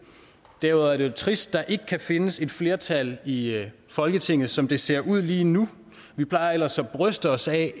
derudover er det jo trist at der ikke kan findes et flertal i folketinget som det ser ud lige nu vi plejer ellers at bryste os af